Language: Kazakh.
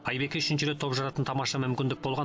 айбекке үшінші рет топ жаратын тамаша мүмкіндік болған